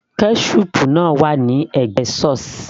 ketchup náà wà ní ẹ̀gbẹ́ sauce